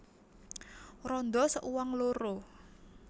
Randha seuang loro